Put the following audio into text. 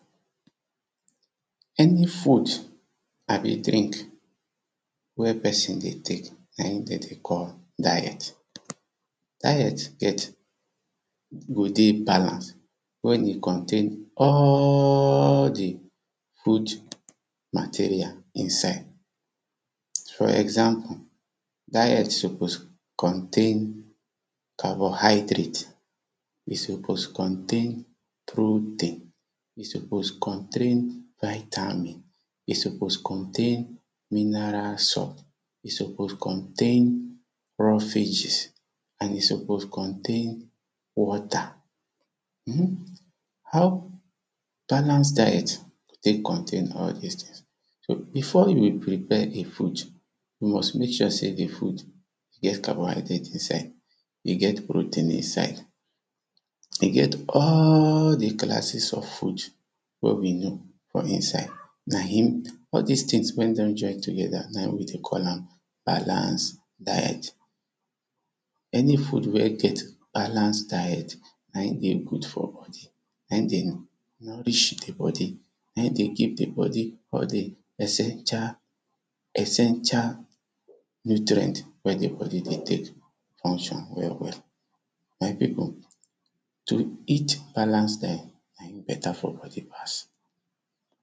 Any food abi drink wen person dey take, na im dem dey call, diet. Diet get go dey balance wen im contain all di food material inside, for example; diet suppose contain carbohydrate, e suppose contain, protein, e suppose contain, vitamin, e suppose contain, mineral salt, e suppose contain roughages, and e suppose contain, water, [2] how balance diet take contain all dis things? Before you will prepare di food, you must make sure sey di food get carbohydrate inside. E get protein inside, e get all di classes of food wen we know for inside na im all dis things wen don join together, na im we dey call am balanced diet. Any food wey get balance diet na im dey good for body na im dey nourish di body, na im dey give di body all di essential, essential nutrient, wen di bodi dey take function well well my people to eat balance diet na im better for body pass